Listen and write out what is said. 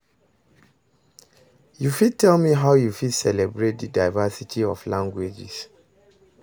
you fit tell me how you fit celebrate di diversity of languages?